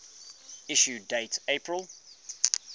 issue date april